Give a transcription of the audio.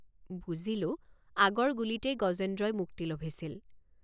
বুজিলোঁ আগৰ গুলীতেই গজেন্দ্ৰই মুক্তি লভিছিল।